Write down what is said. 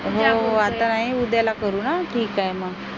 हो हो आता नाही मग उद्याला करू ना ठीक आहे मग